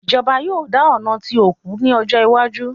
Ìjọba yóò dà ọ̀nà tí òkú ní ọjọ́ iwájú